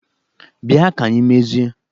Bịa ka anyị mezie!